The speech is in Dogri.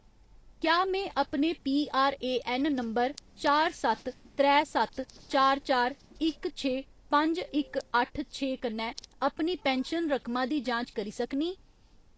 क्या में अपने पीआरएऐन्न नंबर चार सत्त त्रै सत्त चार चार इक छे पंज इक अट्ठ छे कन्नै अपनी पैन्शन रकमा दी जांच करी सकनीं ?